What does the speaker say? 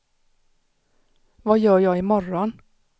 vad gör jag imorgon